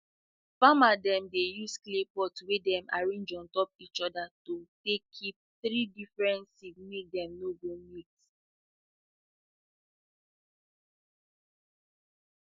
farmer dem dey use clay pot wey dem arrange untop each other to take keep three different seed make dem no go mix